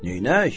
Neynək?